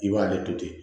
I b'ale to ten